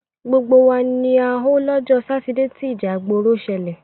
Gbogbo wa ni a họ lọ́jọ́ Sátidé tí ìjà ìgbòrò ṣẹlẹ̀.